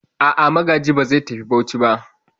A'a, Magaji ba zai tafi Bauchi ba.